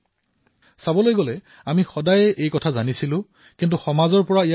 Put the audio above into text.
অৱশ্যে আমি এই সমস্যাৰ বিষয়ে পূৰ্বৰ পৰাই অৱগত আছিলো নহয় জাৱো